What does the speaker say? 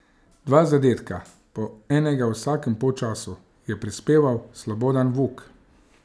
Dva zadetka, po enega v vsakem polčasu, je prispeval Slobodan Vuk.